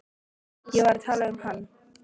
Ég var að tala um hann.